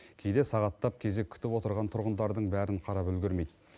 кейде сағаттап кезек күтіп отырған тұрғындардың бәрін қарап үлгермейді